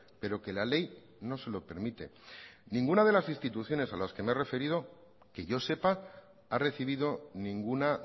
pero que la ley no se lo permite ninguna de las instituciones a las que me he referido que yo sepa ha recibido ninguna